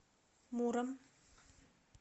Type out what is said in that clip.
муром